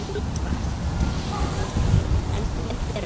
En hún fer ekki.